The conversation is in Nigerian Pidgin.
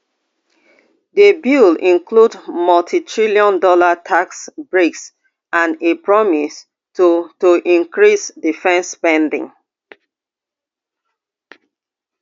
di bill include multitrillion dollar tax breaks and a promise to to increase defence spending